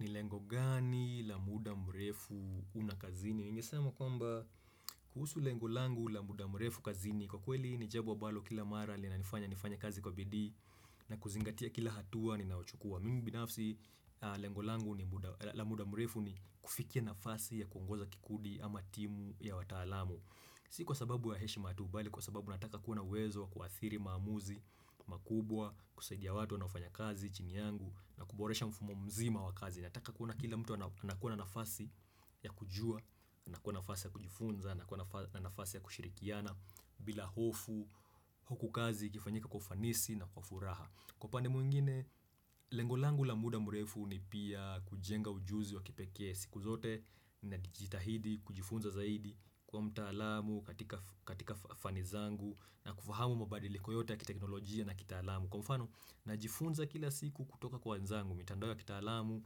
Ni lengo gani la muda mrefu una kazini? Ningesema kwamba kuhusu lengo langu la muda mrefu kazini. Kwa kweli ni jambo ambalo kila mara linanifanya nifanye kazi kwa bidii na kuzingatia kila hatua ninayochukua. Mimi binafsi lengo langu la muda mrefu ni kufikia nafasi ya kuongoza kikundi ama timu ya wataalamu. Si kwa sababu ya heshima tu bali kwa sababu nataka kuwa na uwezo wa kuadhiri maamuzi makubwa, kusaidia watu wanaofanya kazi chini yangu na kuboresha mfumo mzima wa kazi. Nataka kuona kila mtu anakuwa na nafasi ya kujua, anakuwa na nafasi ya kujifunza, anakuwa na nafasi ya kushirikiana bila hofu huku kazi ikifanyika kwa ufanisi na kwa furaha. Kwa upande mwingine, lengo langu la muda mrefu ni pia kujenga ujuzi wa kipekee siku zote na kujitahidi kujifunza zaidi, kuwa mtaalam katika fani zangu na kufahamu mabadiliko yote ya kiteknolojia na kitaalamu. Kwa mfano najifunza kila siku kutoka kwa wenzangu mitandao ya kitaalamu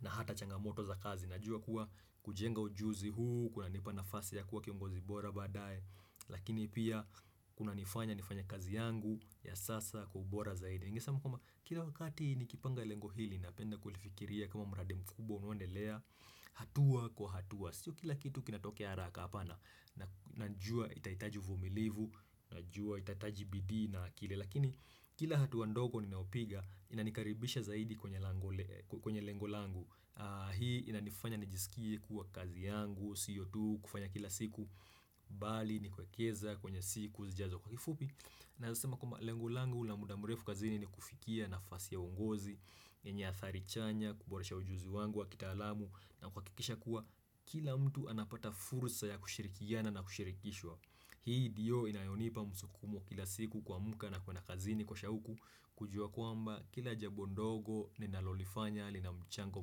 na hata changamoto za kazi. Najua kuwa kujenga ujuzi huu kunanipa nafasi ya kuwa kiongozi bora baadaye Lakini pia kunanifanya nifanye kazi yangu ya sasa kwa ubora zaidi. Ningesema kwamba kila wakati nikipanga lengo hili napenda kulifikiria kama mradi mkubwa unaoendelea hatua kwa hatua. Sio kila kitu kinatokea haraka hapana Najua itahitaji uvumilivu, najua itahitaji bidii na kile lakini kila hatua ndogo ninayopiga inanikaribisha zaidi kwenye lango kwenye lengo langu. Hii inanifanya nijisikie kuwa kazi yangu siyo tu kufanya kila siku bali ni kuwekeza kwenye siku zijazo. Kwa kifupi naweza sema kwamba lengo langu na muda mrefu kazini ni kufikia nafasi ya ungozi yenye athari chanya kuboresha ujuzi wangu wa kitaalamu na kuhakikisha kuwa kila mtu anapata fursa ya kushirikiana na kushirikishwa Hii ndiyo inayonipa msukumo kila siku kumka na kwenda kazini kwa shauku kujua kwamba kila jambo ndogo ninalolifanya lina mchango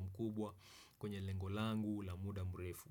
mkubwa kwenye lengo langu la muda mrefu.